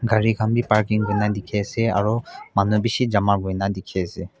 cari kan b parking kurna diki ase aro manu bishi jama kurina diki ase.